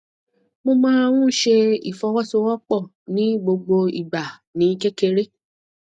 mo máa ń ṣe ìfọwọsowọpọ ní gbogbo ìgbà ní kékeré